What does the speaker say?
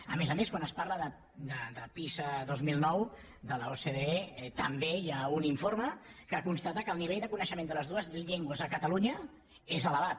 a més a més quan es parla de pisa dos mil nou de l’ocde també hi ha un informe que constata que el nivell de coneixement de les dues llengües a cata lunya és elevat